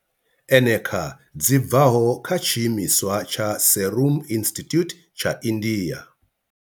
eneca dzi bvaho kha tshiimiswa tsha Serum Institute tsha India.